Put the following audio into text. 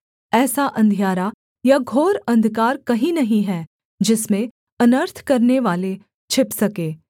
ऐसा अंधियारा या घोर अंधकार कहीं नहीं है जिसमें अनर्थ करनेवाले छिप सके